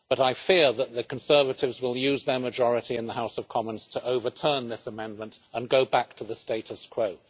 But I fear that the Conservatives will use their majority in the House of Commons to overturn this amendment and go back to the status quo.